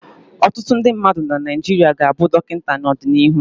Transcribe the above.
Ọtụtụ ndị mmadụ na Naịjirịa ga-abụ Dọkịta n'ọdịnihu.